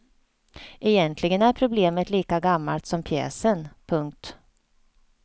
Egentligen är problemet lika gammalt som pjäsen. punkt